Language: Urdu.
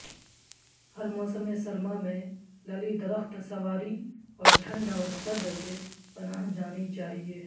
ہر موسم سرما میں للی درخت سنواری اور ٹھنڈ اور سرد سے پناہ جانی چاہئے